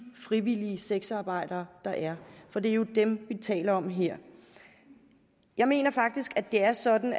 frivillige sexarbejdere der er for det er jo dem vi taler om her jeg mener faktisk det er sådan